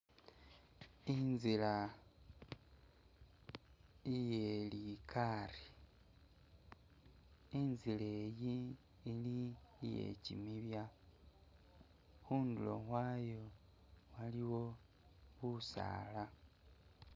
Inzila iye likaari, inzila eyi ili iye kimibya, khundulo khwayo waliwo busaala.